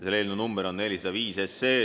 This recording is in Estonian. Selle eelnõu number on 405.